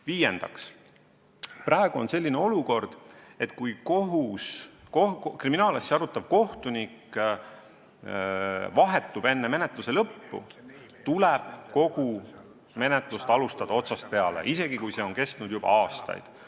Viiendaks, praegu on selline olukord, et kui kriminaalasja arutav kohtunik enne menetluse lõppu vahetub, tuleb kogu menetlust alustada otsast peale, isegi kui see on kestnud juba aastaid.